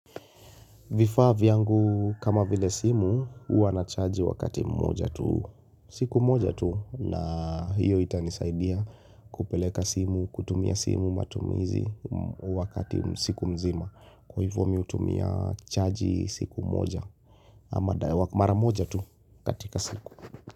Vifaa vyangu kama vile simu huwa nachaji wakati mmoja tu siku moja tu na hiyo itanisaidia kupeleka simu kutumia simu matumizi wakati siku mzima kwa hivyo mimi hutumia chaji siku moja ama mara moja tu katika siku.